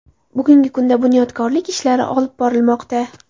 Bugungi kunda bunyodkorlik ishlari olib borilmoqda.